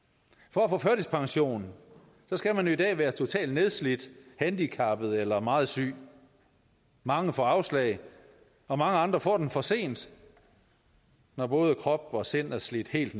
for at få førtidspension skal man jo i dag være totalt nedslidt handicappet eller meget syg mange får afslag og mange andre får den for sent når både krop og sind er slidt helt